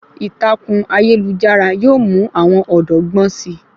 Ìtàkùn ayélujára yóò mú àwọn ọ̀dọ́ gbọ́n si